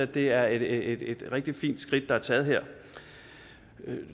det er et et rigtig fint skridt der er taget her